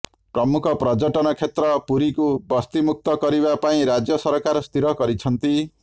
ପ୍ରମୁଖ ପର୍ଯ୍ୟଟନ କ୍ଷେତ୍ର ପୁରୀକୁ ବସ୍ତି ମୁକ୍ତ କରିବା ପାଇଁ ରାଜ୍ୟ ସରକାର ସ୍ଥିର କରିଛନ୍ତି